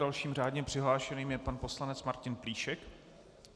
Dalším řádně přihlášeným je pan poslanec Martin Plíšek.